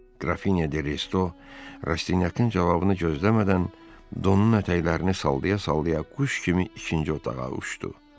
Grafinya de Resto Rastinyakın cavabını gözləmədən donun ətəklərini salalaya-salalaya quş kimi ikinci otağa uçdu.